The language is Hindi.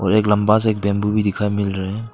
और एक लंबा सा एक बंबू भी दिखाई मिल रहा है।